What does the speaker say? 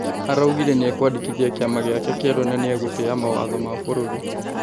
Araugire nĩ ekwandĩ kithia kĩ ama gĩ ake kĩ erũ na nĩ egũtĩ ya mawatho ma bũrũri.